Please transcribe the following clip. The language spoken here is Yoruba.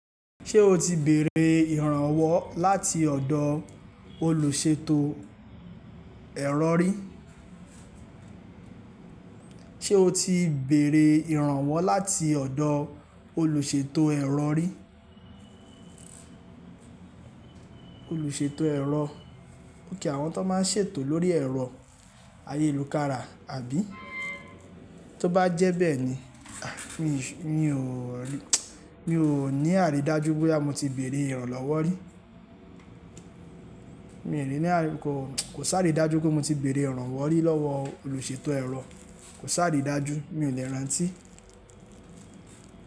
Ṣé o ti bèrè ìrànwọ́ láti ọ̀dọ̀ olùṣètò ẹ̀rọ rí? Ṣé o ti bèrè ìrànwọ́ láti ọ̀dọ̀ olùṣètò ẹ̀rọ rí. Ẹ̀rọ, okay àwọn tan máa ń ṣètò lórí ẹ̀rọ ayélukára àbí. Tó bá jẹ́ bẹ́ẹ̀ni, à, mi ò ní àrídájú bóyá mo ti bèrè ìrànlọ́wọ́ rí. Mi ò rí ní àkókò, kò sáà rí dájú pé mo ti bèrè ìrànwọ́ rí lọ́wọ́ olùṣètò ẹ̀rọ, kò sáà rí dájú, mi ò le rántí.